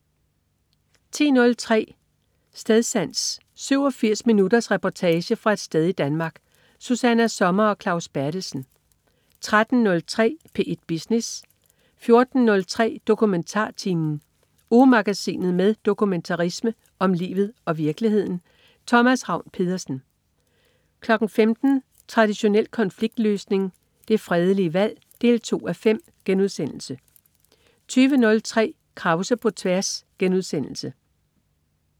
10.03 Stedsans. 87 minutters reportage fra et sted i Danmark. Susanna Sommer og Claus Berthelsen 13.03 P1 Business 14.03 DokumentarTimen. Ugemagasinet med dokumentarisme om livet og virkeligheden. Thomas Ravn-Pedersen 15.00 Traditionel konfliktløsning - det fredelige valg 2:5* 20.03 Krause på tværs*